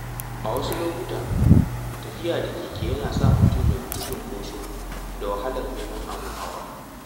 A wasu lokuta, tafiya da keke Yana sa mutum ya guji cunkoso da wahalar neman abun hawa.